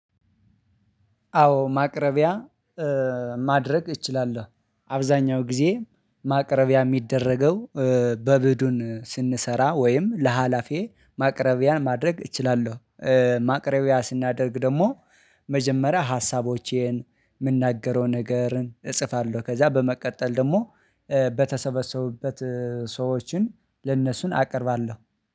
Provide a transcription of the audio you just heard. አዎ ማቅረቢያ ማድረግ እችላለው። አብዛኛው ጊዜ ማቅረቢያ የሚደረገው በቡድን ስንሰራ ወይም ለሃላፊዬ ማቅረቢያ ማድረግ እችላለው። ማቅረቢያ ስናደርግ ደሞ መጀመሪያ ሀሳቦቼን፣ ምናገረውን ነገርን እፅፋለው። ከዛ በመቀጠል ደግሞ በተሰበሰቡበት ሰዎችን ለነሱ አቀርባለው